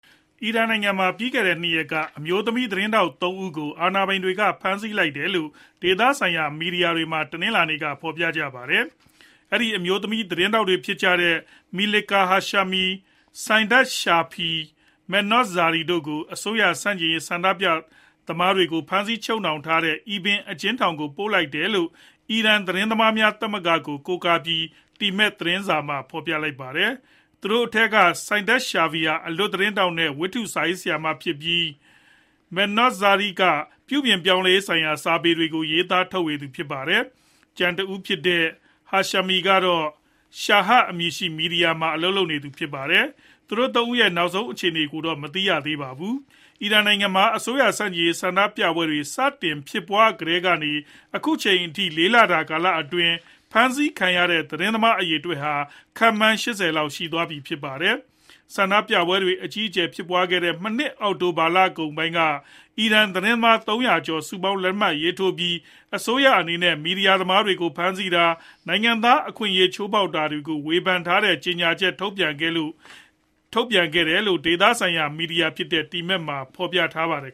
အီရန်နိုင်ငံမှာ ပြီးခဲ့တဲ့ ၂ ရက်က အမျိုးသမီးသတင်းထောက် ၃ ဦးကို အာဏာပိုင်တွေက ဖမ်းဆီးလိုက်တယ်လို့ ဒေသဆိုင်ရာမီဒီယာမှာ တနင်္လာနေ့က ဖော်ပြလိုက်ပါတယ်။ အဲဒီ အမျိုးသမီးသတင်းထောက်တွေ ဖြစ်ကြတဲ့ Melika Hashemi ၊ Saideh Shafiei နဲ့ Mehrnoush Zarei တို့ကို အစိုးရဆန့်ကျင်ရေး ဆန္ဒပြသမားတွေကို ဖမ်းဆီးချုပ်နှောင်ထားတဲ့ Evin အကျဉ်းထောင်ကိုပို့လိုက်တယ်လို့ အီရန်သတင်းသမားများ သမဂ္ဂကိုကိုးကားပြီး temad သတင်းစာမှာ ဖော်ပြလိုက်တာပါ။ သူတို့ထဲက Saideh Shafiei ဟာ အလွတ်သတင်းထောက်နဲ့ ဝတ္ထုစာရေးဆရာမဖြစ်ပြီး Mehrnoush Zarei က ပြုပြင်ပြောင်းလဲရေးဆိုင်ရာစာပေတွေကို ရေးသားထုတ်ဝေသူဖြစ်ပါတယ်။ ကျန်တဦးဖြစ်တဲ့ Hashemi ကတော့ Shahr အမည်ရှိတဲ့ မီဒီယာမှာ အလုပ်လုပ်နေသူဖြစ်ပါတယ်။ သူတို့ ၃ ဦးရဲ့နောက်ဆုံး အခြေအနေကိုတော့ မသိရှိရသေးပါဘူး။ အီရန်နိုင်ငံမှာ အစိုးရဆန့်ကျင်ရေးဆန္ဒပြပွဲတွေ စတင်ဖြစ်ပွားကတည်ကနေ အခုအချိန်အထိ ၄ လအတွင်းမှာ ဖမ်းဆီးခံရတဲ့ သတင်းသမားအရေအတွက်ဟာ ခန့်မှန်း ၈ဝ လောက်ရှိပြီ ဖြစ်ပါတယ်။ ဆန္ဒပြပွဲတွေ အကြီးအကျယ်ဖြစ်ပွားခဲ့တဲ့ မနှစ်အောက်တိုဘာကုန်ပိုင်းက အီရန်သတင်းသမား ၃ဝဝ ကျော် စုပေါင်းလက်မှတ်ရေးထိုးပြီး အစိုးရအနေနဲ့ မီဒီယာသမားတွေကို ဖမ်းဆီးတာ ၊ နိုင်ငံသားအခွင့်အရေးချိုးဖောက်တာတွေကို ဝေဖန်ထားတဲ့ ကြေညာချက်ထုတ်ပြန်ခဲ့တယ်လို့ ဒေသဆိုင်ရာမီဒီယာဖြစ်တဲ့ Temad မှာ ဖော်ပြထားပါတယ်